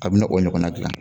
K'a bɛna o ɲɔgɔnna dilan.